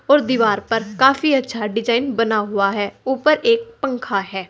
उस दीवार पर काफी अच्छा डिजाइन बना हुआ है ऊपर एक पंखा है।